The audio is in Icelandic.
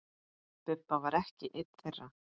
Bubba var ekki einn þeirra.